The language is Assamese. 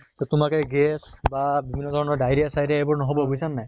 তʼ তোমাক এ gas বা বিভিন্ন ধৰণৰ diarrhea চিয়েৰিয়া এইবোৰ নহʼব বুজিছা নে নাই